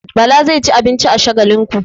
Bala zai ci abinci a Shagalinku.